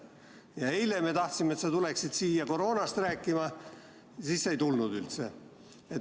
Ja eile, kui me tahtsime, et sa tuleksid siia koroonast rääkima, siis sa ei tulnud üldse.